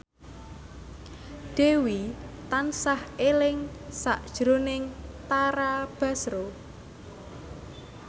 Dewi tansah eling sakjroning Tara Basro